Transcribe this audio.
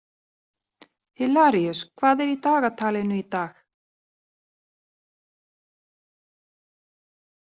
Hilaríus, hvað er í dagatalinu í dag?